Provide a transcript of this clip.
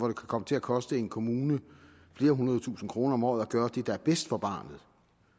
kan komme til at koste en kommune flere hundrede tusind kroner om året at gøre det der er bedst for barnet